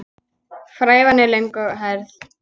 Frævan er löng og hærð.